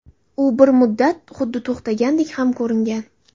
U bir muddat xuddi to‘xtagandek ham ko‘ringan.